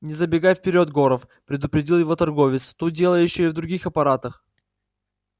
не забегай вперёд горов предупредил его торговец тут дело ещё и в других аппаратах